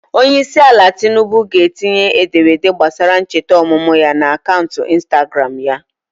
Onyeisiala Tinubu ga-etinye ederede gbasara ncheta ọmụmụ ya n'akaụntụ Instagram ya.